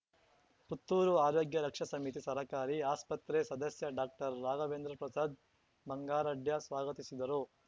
ಪುತ್ತೂರು ಆರೋಗ್ಯ ರಕ್ಷಾ ಸಮಿತಿ ಸರಕಾರಿ ಆಸ್ಪತ್ರೆ ಸದಸ್ಯ ಡಾಕ್ಟರ್ ರಾಘವೇಂದ್ರ ಪ್ರಸಾದ್ ಬಂಗಾರಡ್ಯ ಸ್ವಾಗತಿಸಿದರು